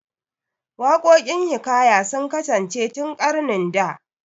Waƙokin hiƙaya sun kasance tun ƙarnin da